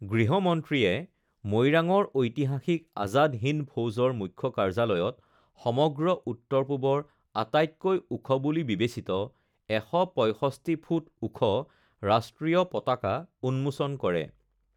গৃহমন্ত্ৰীয়ে মৈৰাঙৰ ঐতিহাসিক আজাদ হিন্দ ফৌজৰ মুখ্য কাৰ্যালয়ত সমগ্ৰ উত্তৰ পূৱৰ আটাইতকৈ ওখ বুলি বিবেচিত ১৬৫ ফুট ওখ ৰাষ্ট্ৰীয় পতাকা উন্মোচন কৰে